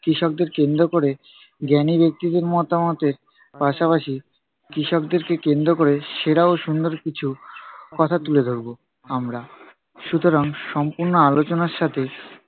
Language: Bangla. কৃষকদের কেন্দ্র কোরে জ্ঞানী ব্যক্তিদের মতামতের পাশাপাশি কৃষকদেরকে কেন্দ্র করে সেরা ও সুন্দর কিছু কথা তুলে ধরবো, আমরা। সুতুরাং সুম্পূর্ণ আলোচনার সাথে